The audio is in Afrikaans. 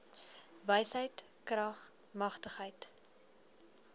wysheid krag matigheid